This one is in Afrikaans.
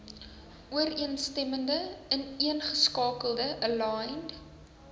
ooreenstemmende ineengeskakelde aligned